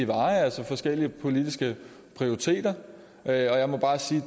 veje altså forskellige politiske prioriteter og jeg må bare sige